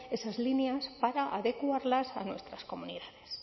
esas líneas para adecuarlas a nuestras comunidades